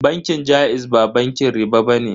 Bankin jaiz ba bankin riɓa bane.